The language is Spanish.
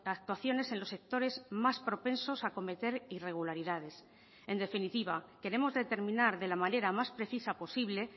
actuaciones en los sectores más propensos a cometer irregularidades en definitiva queremos determinar de la manera más precisa posible